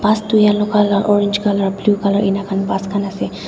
bus tu yellow colour orange colour blue colour enika bus khan ase.